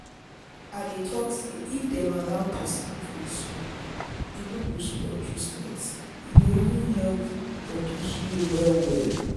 i dey talk say if dem allow person pray small e no go spoil treatment e go even help body heal well. well.